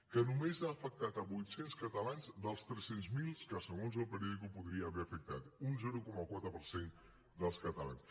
que només ha afectat vuit cents catalans dels tres cents miler que segons el periódicoafectat un zero coma quatre per cent dels catalans